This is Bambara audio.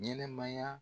Ɲɛnɛmaya